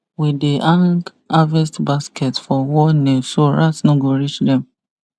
we dey hang harvest baskets for wall nail so rat no go reach them